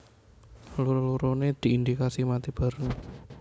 Loro loronè diindikasi mati bareng